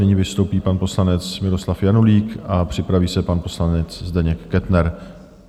Nyní vystoupí pan poslanec Miroslav Janulík a připraví se pan poslanec Zdeněk Kettner.